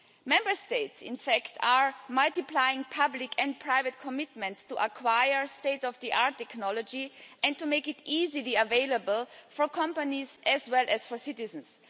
Member States are multiplying public and private commitments to acquire state of the art technology and to make it easily available for companies as well as for citizens.